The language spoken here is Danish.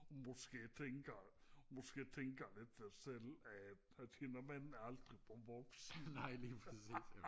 måske tænker måske tænker med sig selv er den mand aldrig blevet voksen